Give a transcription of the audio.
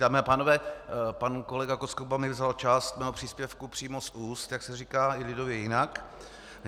Dámy a pánové, pan kolega Koskuba mi vzal část mého příspěvku přímo z úst, jak se říká i lidově jinak.